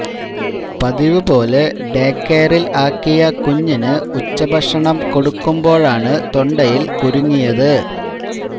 പതിവ് പോലെ ഡേകെയറില് ആക്കിയ കുഞ്ഞിന് ഉച്ച ഭക്ഷണം കൊടുക്കുമ്പോഴാണ് തൊണ്ടയില് കുരുങ്ങിയത്